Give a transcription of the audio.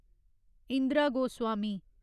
Indira Goswami